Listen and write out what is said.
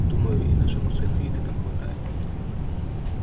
думаю и нашему сыну еды там хватает